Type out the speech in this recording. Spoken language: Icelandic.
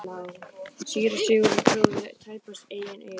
Síra Sigurður trúði tæpast eigin eyrum.